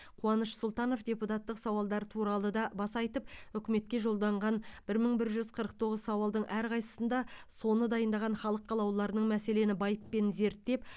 қуаныш сұлтанов депутаттық сауалдар туралы да баса айтып үкіметке жолданған бір мың бір жүз қырық тоғыз сауалдың әрқайсысында соны дайындаған халық қалаулыларының мәселені байыппен зерттеп